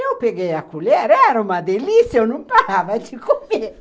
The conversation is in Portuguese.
Eu peguei a colher, era uma delícia, eu não parava de comer.